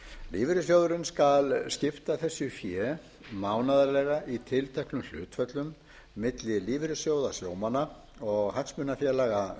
lífeyrissjóðurinn skal skipta þessu fé mánaðarlega í tilteknum hlutföllum milli lífeyrissjóða sjómanna og hagsmunafélaga